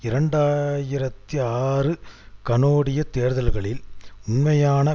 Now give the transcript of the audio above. இரண்டு ஆயிரத்தி ஆறு கனோடிய தேர்தல்களில் உண்மையான